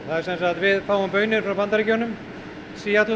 við fáum baunir frá Bandaríkjunum